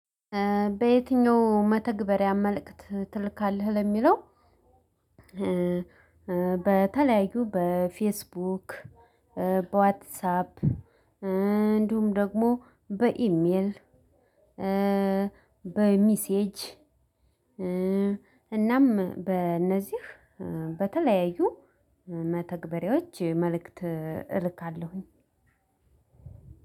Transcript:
በየትኛው መተግበሪያ መልእክት ትልካለህ? ለሚለው በተለያዩ በፌስቡክ፣ በዋትሳፕ፣ እንዲሁም ደግሞ በኢሜል፣ በሚሴጅ እናም በእነዚህ በተለያዩ መተግበሬዎች መልእክት እልካለሁኝ።